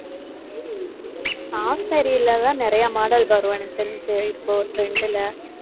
half saree லதான் நிறைய model வரும், எனக்கு தெரிஞ்சு இப்போ trend ல